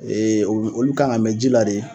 olu kan ka mɛn jila de.